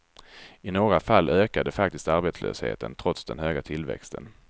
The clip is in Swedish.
I några fall ökade faktiskt arbetslösheten, trots den höga tillväxten.